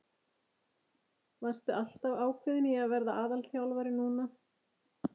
Varstu alltaf ákveðinn í að verða aðalþjálfari núna?